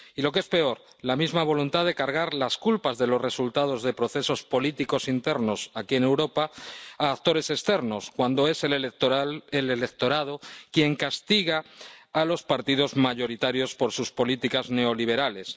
Y lo que es peor, la misma voluntad de cargar las culpas de los resultados de procesos políticos internos aquí en Europa a actores externos, cuando es el electorado quien castiga a los partidos mayoritarios por sus políticas neoliberales.